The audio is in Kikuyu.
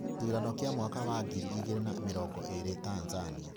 Gĩthurano kia mwaka wa ngiri igĩrĩ na mĩrongo ĩĩrĩ Tanzania: